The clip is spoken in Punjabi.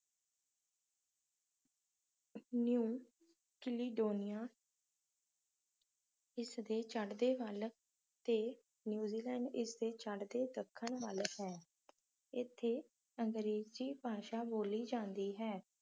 ਨਿਊ ਕੀਲੀਡੋਨਿਆ ਇਸਦੇ ਚੜ੍ਹਦੇ ਵੱਲ ਤੇ ਨਿਊਜ਼ੀਲੈਂਡ ਇਸਦੇ ਚੜ੍ਹਦੇ ਦੱਖਣ ਵੱਲ ਹੈ ਇੱਥੇ ਅੰਗਰੇਜ਼ੀ ਭਾਸ਼ਾ ਬੋਲੀ ਜਾਂਦੀ ਹੈ